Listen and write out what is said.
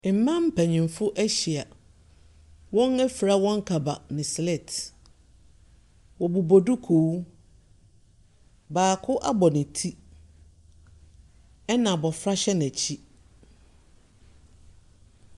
Mmaa mpanimfoɔ ahyia. Wɔafira wɔn kaba ne sleet. Wɔbobɔ dukuu. Baako abɔ ne ti ɛna abɔfra hyɛ n'akyi.